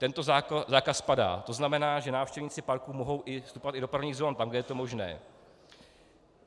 Tento zákaz padá, to znamená, že návštěvníci parku mohou vstupovat i do prvních zón tam, kde je to možné.